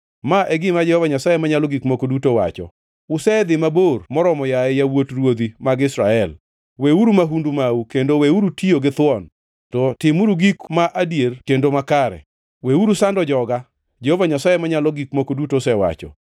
“ ‘Ma e gima Jehova Nyasaye Manyalo Gik Moko Duto wacho: Usedhi mabor moromo, yaye yawuot ruodhi mag Israel! Weuru mahundu mau kendo weuru tiyo ji githuon, to timuru gik ma adier kendo makare. Weuru sando joga, Jehova Nyasaye Manyalo Gik Moko Duto osewacho.